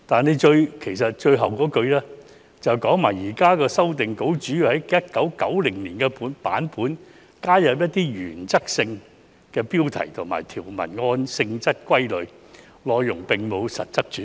而局長在最後一句說："現時的修訂稿主要是在1990年的版本加入一些原則性標題及將條文按性質歸類，內容並沒有很大的實質改變"。